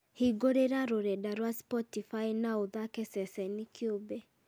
hingũrĩra rũrenda rwa spotify na ũthaake ceceni kĩũmbe